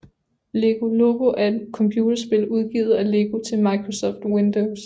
Lego Loco er et computerspil udgivet af Lego til Microsoft Windows